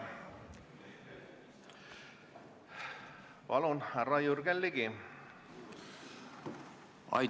Palun, härra Jürgen Ligi!